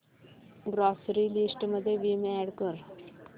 grocery list मध्ये Vim add कर